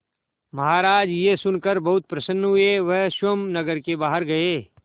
महाराज यह सुनकर बहुत प्रसन्न हुए वह स्वयं नगर के बाहर गए